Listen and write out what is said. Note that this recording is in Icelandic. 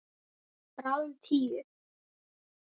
Bráðum tíu.